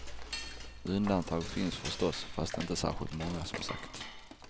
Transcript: Undantag finns förstås, fast inte särskilt många, som sagt.